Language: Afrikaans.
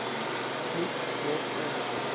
moet word om